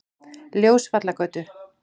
Ljósvallagötu